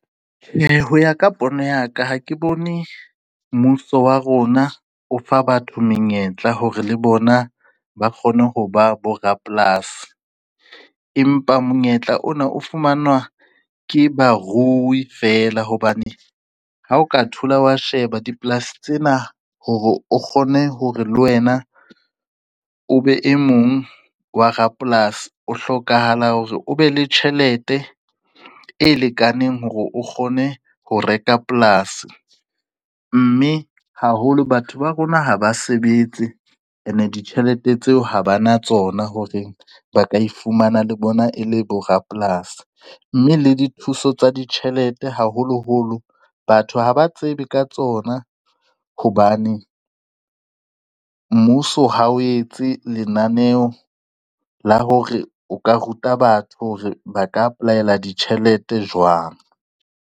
Tjhe, ho ya ka pono ya ka, ha ke bone mmuso wa rona o fa batho menyetla hore le bona ba kgone ho ba bo rapolasi. Empa monyetla ona o fumanwa ke baruwi fela hobane ha o ka thola wa sheba dipolasi tsena hore o kgone hore le wena o be e mong wa rapolasi o hlokahala hore o be le tjhelete e lekaneng hore o kgone ho reka polasi, mme haholo batho ba rona ha ba sebetse ene ditjhelete tseo ha ba na tsona hore ba ka ifumana le bona e le bo rapolasi, mme le dithuso tsa ditjhelete haholoholo batho haba tsebe ka tsona hobane mmuso ha o etse lenaneo la hore o ka ruta batho hore ba ka apply-ela ditjhelete jwang.